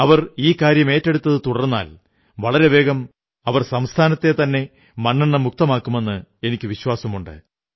അവർ ഈ കാര്യം ഏറ്റെടുത്തതു തുടർന്നാൽ വളരെ വേഗം അവർ സംസ്ഥാനത്തെത്തന്നെ മണ്ണെണ്ണ മുക്തമാക്കുമെന്ന് എനിക്കു വിശ്വാസമുണ്ട്